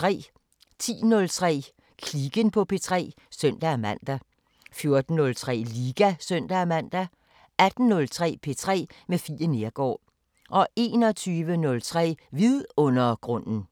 10:03: Kliken på P3 (søn-man) 14:03: Liga (søn-man) 18:03: P3 med Fie Neergaard 21:03: Vidundergrunden